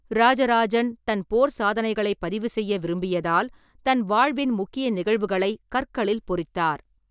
ராஜராஜன் தன் போர்ச் சாதனைகளைப் பதிவுசெய்ய விரும்பியதால், தன் வாழ்வின் முக்கிய நிகழ்வுகளை கற்களில் பொறித்தார்.